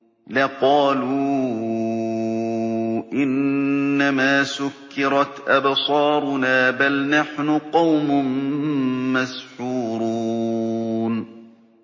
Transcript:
لَقَالُوا إِنَّمَا سُكِّرَتْ أَبْصَارُنَا بَلْ نَحْنُ قَوْمٌ مَّسْحُورُونَ